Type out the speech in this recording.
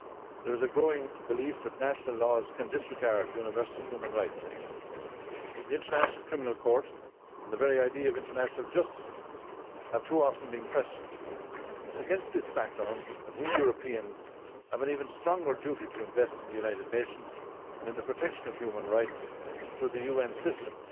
There is a growing belief that national laws can disregard universal human rights. The International Criminal Court and the very idea of international justice have too often been questioned and it is against this background that we Europeans have an even stronger duty to invest in the United Nations and in the protection of human rights through the UN system.